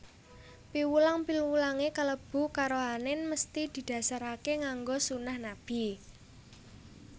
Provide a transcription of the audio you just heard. Piwulang piwulangé kalebu karohanèn mesthi didhasaraké nganggo sunah Nabi